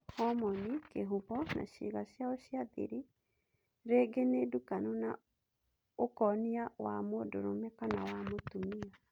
Homoni, Kĩhũmo na ciega ciao cia thiri rĩngĩ nĩ ndukanu na ũkonia wa mũndũrũme kana Mũtumia.